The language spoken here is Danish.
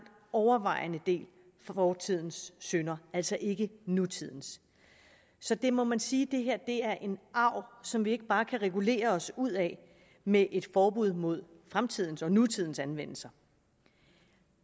overvejende del fortidens synder altså ikke nutidens så det må man sige er en arv som vi ikke bare kan regulere os ud af med et forbud mod fremtidens og nutidens anvendelse